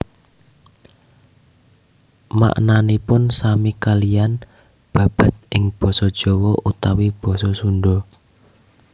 Maknanipun sami kaliyan babad ing basa Jawa utawi basa Sunda